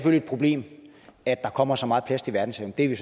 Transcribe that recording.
problem at der kommer så meget plast i verdenshavene det er vi